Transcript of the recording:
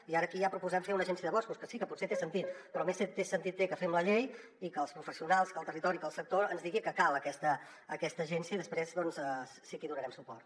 i ara aquí ja proposem fer una agència de boscos que sí que potser té sentit però més sentit té que fem la llei i que els professionals que el territori que el sector ens diguin que cal aquesta agència i després doncs sí que hi donarem suport